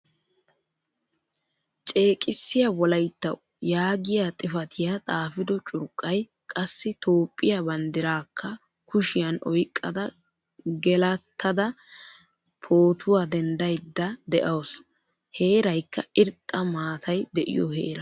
Ceeqisiya wolayttawu yaagiyaa xifatiyaa xaafido curqqay, qassi Toophphiyaa bandirakka kushyan oyqqada gelattada pootuwaa denddayda deawusu. Heeraykka irxxa maataay deiyo heeraa.